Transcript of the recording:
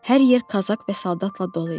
Hər yer kazak və soldatla dolu idi.